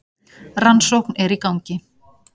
Rannsókn er í gangi.